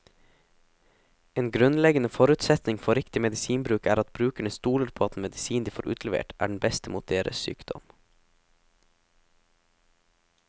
En grunnleggende forutsetning for riktig medisinbruk er at brukerne stoler på at den medisinen de får utlevert, er den beste mot deres sykdom.